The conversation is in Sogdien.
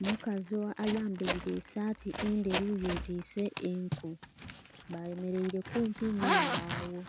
omukazi ayambaire esaati endheru yetwise enku bayemeraire kumpi nhembagho.